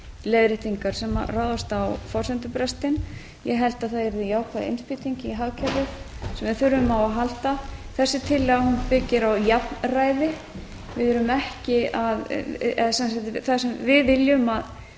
leiðréttingar sem ráðast á forsendubrestinn ég held að það yrði jákvæð innspýting í hagkerfið sem við þurfum á að halda þessi tillaga byggir á jafnræði við erum ekki að við viljum